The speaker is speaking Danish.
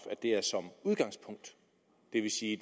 at det er som udgangspunkt det vil sige at